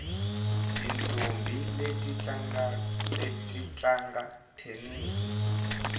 tintombhi leti ti tlanga thenisi